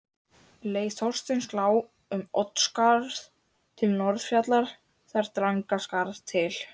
Leið Þorsteins lá um Oddsskarð til Norðfjarðar, þaðan Drangaskarð til